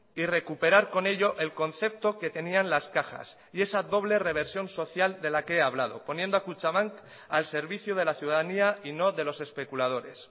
y recuperar con ello el concepto que tenían las cajas y esa doble reversión social de la que he hablado poniendo a kutxabank al servicio de la ciudadanía y no de los especuladores